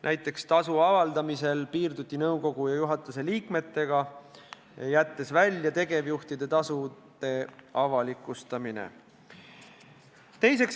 Näiteks tasu avaldamisel otsustati piirduda nõukogu ja juhatuse liikmetega, tegevjuhtide tasu ei avalikustata.